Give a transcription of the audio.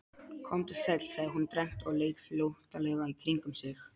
Komdu sæll, sagði hún dræmt og leit flóttalega kringum sig.